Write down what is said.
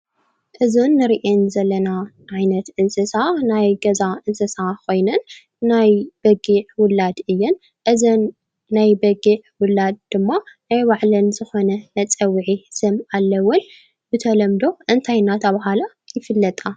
እዘን ንሪአን ዘለና ዓይነት እንስሳ ናይ ገዛ እንስሳ ኮይነን ናይ በጊዕ ውላድ እየን። እዘን ናይ በጊዕ ውላድ ድማ ናይ ባዕለን ዝኮነ መፀውዒ ስም አለወን። ብተለምዶ እንታይ እናተብሃላ ይፍለጣ?